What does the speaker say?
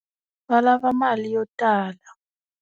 Va lava mali yo tala.